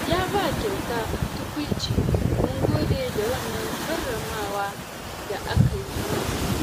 Yaba kyauta tukuici, mun gode da wannan karramawa da aka yi mana.